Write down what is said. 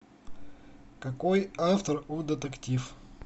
какой автор у детектив